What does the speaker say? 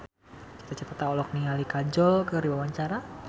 Cita Citata olohok ningali Kajol keur diwawancara